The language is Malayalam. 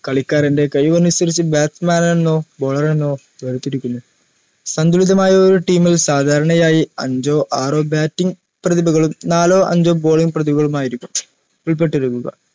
കളിക്കാരൻറെ കഴിവിനനുസരിച്ചു bat man എന്നോ baller എന്നോ വേർതിരിക്കുന്നു സന്തുലിതമായ ഒരു team ൽ സാധാരണയായി അഞ്ചോ ആറോ batting പ്രതിഭകളും നാലോ അഞ്ചോ balling പ്രതിഭകളും ആയിരിക്കും ഉൾപെട്ടിരിക്കുക